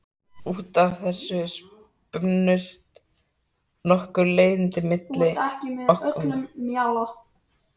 Út af þessu spunnust nokkur leiðindi okkar á milli.